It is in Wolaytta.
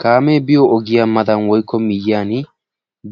Kaame miyo ogiyaa matan woykkko miyyiyaan